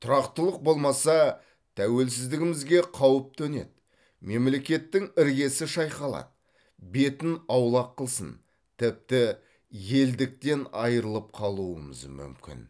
тұрақтылық болмаса тәуелсіздігімізге қауіп төнеді мемлекеттің іргесі шайқалады бетін аулақ қылсын тіпті елдіктен айырылып қалуымыз мүмкін